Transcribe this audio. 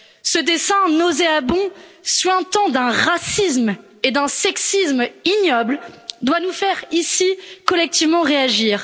Ce dessin nauséabond, suintant d'un racisme et d'un sexisme ignobles, doit nous faire ici collectivement réagir.